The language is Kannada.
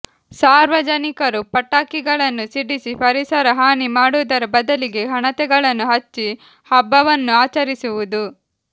ಸಾರ್ವಜನಿಕರು ಪಟಾಕಿಗಳನ್ನು ಸಿಡಿಸಿ ಪರಿಸರ ಹಾನಿ ಮಾಡುವುದರ ಬದಲಿಗೆ ಹಣತೆಗಳನ್ನು ಹಚ್ಚಿ ಹಬ್ಬವನ್ನು ಆಚರಿಸುವುದು